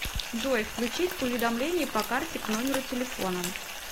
джой включить уведомления по карте к номеру телефона